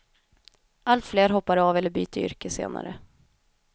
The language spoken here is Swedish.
Allt fler hoppar av eller byter yrke senare.